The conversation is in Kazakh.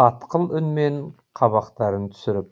қатқыл үнмен қабақтарын түсіріп